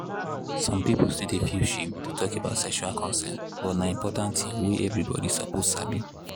some people still dey feel shame to talk about sexual consent but na important thing wey everybody suppose sabi.